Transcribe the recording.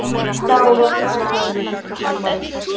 Þá var farið í bíltúr.